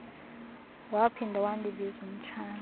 waphinda wandibiza umtshana